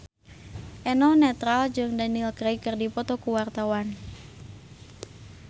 Eno Netral jeung Daniel Craig keur dipoto ku wartawan